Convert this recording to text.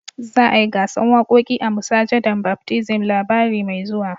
Za a yi gasan wakoki a masujadan Baptism labari mai zuwa.